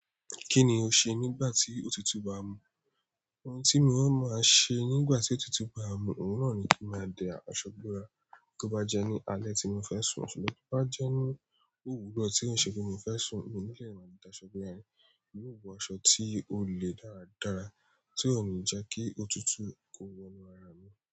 Kí ni o ṣe nígbà tí òtútù bá mu? Ohun tí mi ó máa ṣe nígbà tí òtútù bá mu, òun náà ni kí n máa dẹ aṣọ búrá. Tí ó bá jẹ́ ní alẹ́ tí mo fẹ́ sùn, ṣùgbọ́n tí bá jẹ́ ní òwúrọ̀ tí o ṣe pe mo fẹ́ sùn, mo ní lò máa da aṣọ borá, mi o wọ aṣọ tí ó le dára dára tí ó ní jẹ́ kí òtútù kó wọnú ara mi.